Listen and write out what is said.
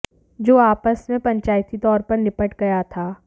जो आपस मे पंचायती तौर पर निपट गया था